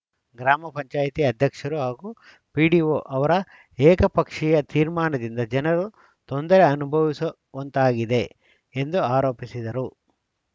ಗ್ರಾಮ ಪಂಚಾಯತ್ ಅಧ್ಯಕ್ಷರು ಹಾಗೂ ಪಿಡಿಒ ಅವರ ಏಕಪಕ್ಷಿಯ ತೀರ್ಮಾನದಿಂದ ಜನರು ತೊಂದರೆ ಅನುಭವಿಸುವಂತಾಗಿದೆ ಎಂದು ಆರೋಪಿಸಿದರು